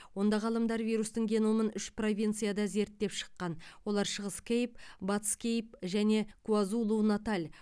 онда ғалымдар вирустың геномын үш провинцияда зерттеп шыққан олар шығыс кейп батыс кейп және куазулу наталь